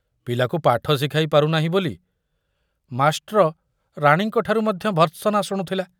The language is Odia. ପିଲାକୁ ପାଠ ଶିଖାଇ ପାରୁନାହିଁ ବୋଲି ମାଷ୍ଟ୍ର ରାଣୀଙ୍କ ଠାରୁ ମଧ୍ୟ ଭର୍ସନା ଶୁଣୁଥିଲା।